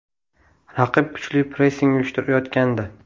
Raqib kuchli pressing uyushtirayotgandi.